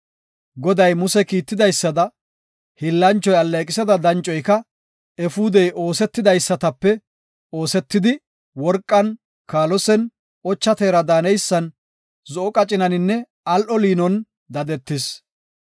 Goday Muse kiitidaysada, hiillanchoy alleeqisida dancoyka efuudey oosetidaysatape oosetidi, worqan, kaalosen, ocha teera daaneysan, zo7o qacinaninne al7o liinon dadetis.